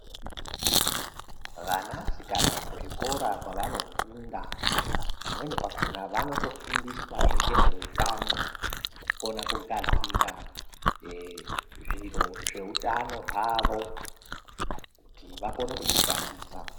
Vana sikana kuzvikora kwavanofunda pamweni pakhona vanotofundiswazve ngezveutano kukona kugadzira zviro zveutano hwavonkuti vakone kuzvishandisa